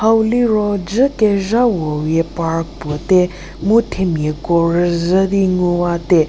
hau liro dzu kezhawo wie park puo tei mu themia ko rüzhi di ngu wa te.